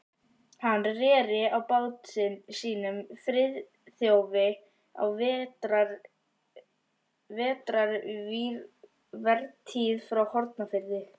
Hann reri á bát sínum, Friðþjófi, á vetrarvertíð frá Hornafirði.